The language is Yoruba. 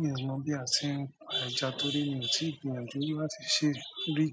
Mi ò mọ̀ bí a ṣe ń pa ẹja torí mi ò tí ì gbìyànjú láti ṣe rí.